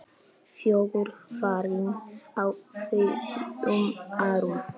Fjögur farin á fáum árum.